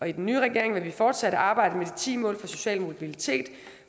i den nye regering vil vi fortsat arbejde med de ti mål for social mobilitet